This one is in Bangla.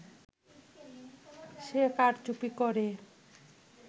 সে কারচুপি করে